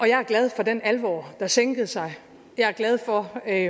jeg er glad for den alvor der sænkede sig og jeg er glad for at